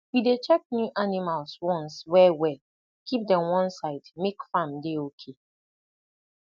we dey check new animals ones wellwell keep dem one side make farm dey okay